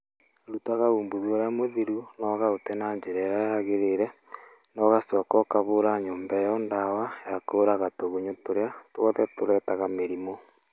Rutaga umbuthĩ ũrĩa mũthiru na ũkaũte na njĩra ĩrĩa yagĩrĩire na ũgacoka ũkahũra nyũmba ĩyo ndawa ya kũraga tũgunyũ tũrĩa twothe tũrehaga mĩrimũ.